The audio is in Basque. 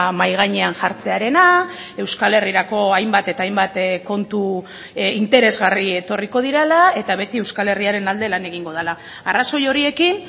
mahai gainean jartzearena euskal herrirako hainbat eta hainbat kontu interesgarri etorriko direla eta beti euskal herriaren alde lan egingo dela arrazoi horiekin